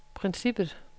princippet